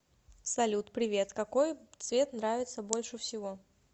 салют привет какой цвет нравится больше всего